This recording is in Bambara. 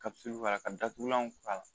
b'a la, ka datugulanw k'a la